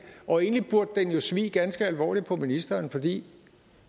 og egentlig burde den jo svie ganske alvorligt på ministeren fordi